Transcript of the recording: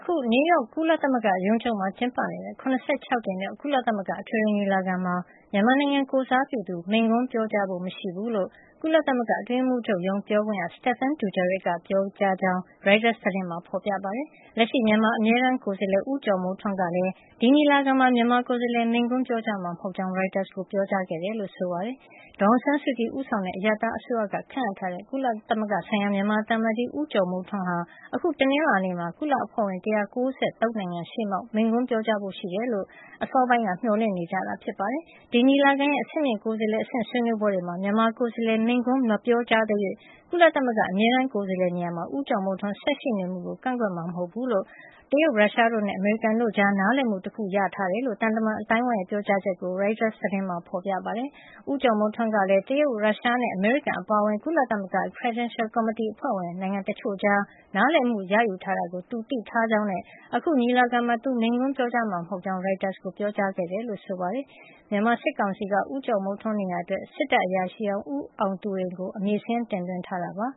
ခု နယူးရောက် ကုလသမဂ္ဂရုံးချုပ်မှာ ကျင်းပနေတဲ့ ၇၆ ကြိမ်မြောက် ကုလသမဂ္ဂ အထွေထွေညီလာခံမှာ မြန်မာနိုင်ငံကိုယ်စားပြု သူ မိန့်ခွန်းပြောကြားဖို့ မရှိဘူးလို့ ကုလသမဂ္ဂအတွင်းရေးမှုးချုပ်ရုံး ပြောခွင့်ရ Stephane Dujarric က ပြောကြားခဲ့ကြောင်း ရိုက်တာသတင်းမှာ ဖေါ်ပြထားပါတယ်။ လက်ရှိမြန်မာအမြဲတမ်းကိုယ်စားလှယ် ဦးကျော်မိုးထွန်းကလည်း ဒီညီလာခံမှာ မြန်မာကိုယ်စားလှယ် မိန့်ခွန်းပြောကြားမှာ မဟုတ်ကြောင်း ရိုက်တာကို ပြောကြားခဲ့တယ်လို့ ဆိုပါတယ်။ ဒေါ်အောင်ဆန်းစုကြည်ဦးဆောင်တဲ့ အရပ်သားအစိုးရက ခန့်အပ်ထားတဲ့ ကုလဆိုင်ရာ မြန်မာသံအမတ်ကြီး ဦးကျော်မိုးထွန်းဟာ အခု တနင်္လာနေ့မှာ ကုလအဖွဲ့ဝင် ၁၉၃ နိုင်ငံရှေ့မှောက် မိန့်ခွန်းပြောကြားဖို့ရှိတယ်လို့ အစောပိုင်းကမျှော်လင့်နေကြတာ ဖြစ်ပါတယ်။ ဒီညီလာခံရဲ့ အဆင့်မြင့်ကိုယ်စားလှယ်အဆင့် ဆွေးနွေးပွဲတွေမှာ မြန်မာကိုယ်စားလှယ်က မိန့်ခွန်းမပြောကြားသရွေ့ ကုလသမဂ္ဂ အမြဲတမ်းကိုယ်စားလှယ်နေရာမှာ ဦးကျော်မိုးထွန်းဆက်ရှိနေမှုကို ကန့်ကွက်မှာ မဟုတ်ဖူးလို့ တရုတ်၊ ရုရှားတို့နဲ့ အမေရိကန်တို့ကြား နားလည်မှု တခုရရှိခဲ့ကြောင်း သံတမန်အသိုင်းဝိုင်းရဲ့ ပြောကြားချက်ကို ရိုက်တာသတင်းမှာ ဖေါ်ပြထားပါတယ်။ ဦးကျော်မိုးထွန်းကလည်း တရုတ်၊ ရုရှားနဲ့ အမေရိကန်အပါအဝင် ကုလသမဂ္ဂ Credential ကော်မတီ အဖွဲ့ဝင်နိုင်ငံ တချို့ကြား နားလည်မှုရယူထားတာကို သူသိထားကြောင်းနဲ့ အခု ညီလာခံမှာ သူမိန့်ခွန်းပြောကြားမှာမဟုတ်ကြောင်း ရိုက်တာကို ပြောကြားခဲ့တယ်လို့ ဆိုပါတယ်။ မြန်မာစစ်ကောင်စီကတော့ ဦးကျော်မိုးထွန်းနေရာအတွက် စစ်တပ်အရာရှိဟောင်း ဦးအောင်သူရိန်ကို အမည်စာရင်းတင်သွင်းထားတာ ဖြစ်ပါ